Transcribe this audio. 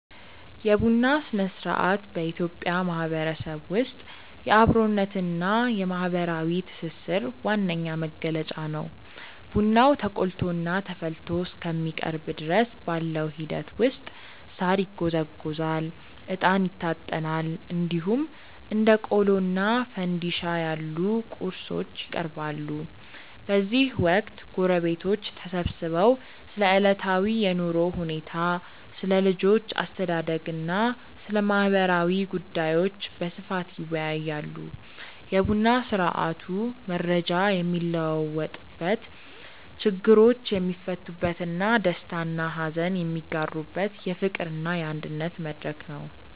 የቡና ሥነ-ሥርዓት በኢትዮጵያ ማህበረሰብ ውስጥ የአብሮነትና የማህበራዊ ትስስር ዋነኛ መገለጫ ነው። ቡናው ተቆልቶና ተፈልቶ እስከሚቀርብ ድረስ ባለው ሂደት ውስጥ ሳር ይጎዘጎዛል፣ እጣን ይታጠናል፣ እንዲሁም እንደ ቆሎና ፋንድሻ ያሉ ቁርሶች ይቀርባሉ። በዚህ ወቅት ጎረቤቶች ተሰብስበው ስለ ዕለታዊ የኑሮ ሁኔታ፣ ስለ ልጆች አስተዳደግና ስለ ማህበራዊ ጉዳዮች በስፋት ይወያያሉ። የቡና ስርአቱ መረጃ የሚለዋወጥበት፣ ችግሮች የሚፈቱበትና ደስታና ሀዘን የሚጋሩበት የፍቅርና የአንድነት መድረክ ነው።